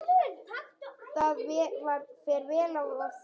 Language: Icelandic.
Það fer vel á því.